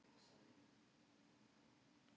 Dregur úr trausti á dómskerfinu